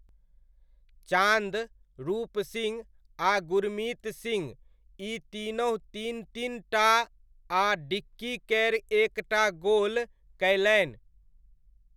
चान्द, रूप सिंह आ गुरमित सिंह ई तीनहुँ तीन तीन टा आ डिक्की कैर एक टा गोल कयलनि।